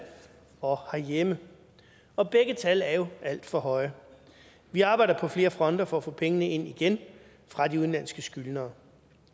og herhjemme og begge tal er jo alt for høje vi arbejder på flere fronter for at få pengene ind igen fra de udenlandske skyldnere